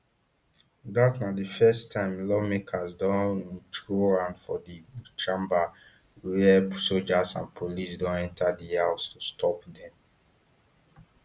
dat na di first time lawmakers don um throw hand for di chamber wia soldiers and police don enta di house to stop dem